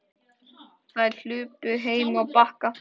Þær hlupu heim á Bakka.